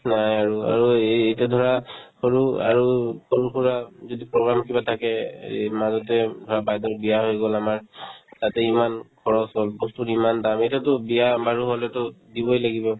নাই আৰু অৰু এই ~ এতিয়া ধৰা সৰু আৰু সৰু-সুৰা যদি program কিবা থাকে এই হেৰি মাজত যে ধৰা বাইদেউৰ বিয়া হৈ গ'ল আমাৰ তাতে ইমান খৰচ হ'ল বস্তুৰ ইমান দাম এতিয়াতো বিয়া-বাৰু হ'লেতো দিবই লাগিব